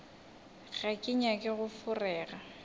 ga ke nyake go feroga